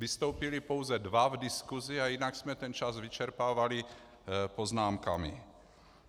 Vystoupili pouze dva v diskusi a jinak jsme ten čas vyčerpávali poznámkami.